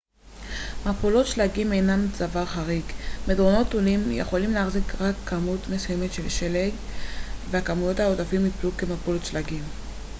מפולות שלגים אינן דבר חריג מדרונות תלולים יכולים להחזיק רק כמות מסוימת של שלג והכמויות העודפות יפלו כמפולות שלגים